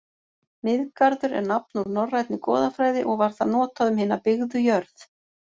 Miðgarður er nafn úr norrænni goðafræði og var það notað um hina byggðu jörð.